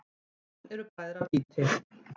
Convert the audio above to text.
Jöfn eru bræðra býti.